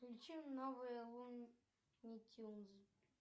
включи новые луни тюнс